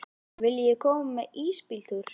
Viljiði koma með í ísbíltúr?